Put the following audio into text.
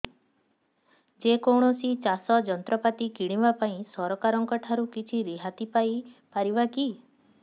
ଯେ କୌଣସି ଚାଷ ଯନ୍ତ୍ରପାତି କିଣିବା ପାଇଁ ସରକାରଙ୍କ ଠାରୁ କିଛି ରିହାତି ପାଇ ପାରିବା କି